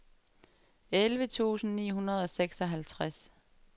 elleve tusind ni hundrede og seksoghalvtreds